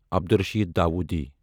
Abdul Rashid Dawoodi